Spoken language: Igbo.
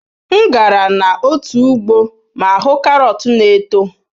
M gara n'otu ugbo ma hụ karọt na-eto.